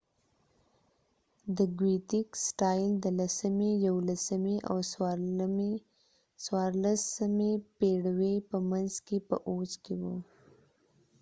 د ګوېتیک سټایل د لسمي یوولسمې او 14مې پيړیو په منځ کې په اوج کې وو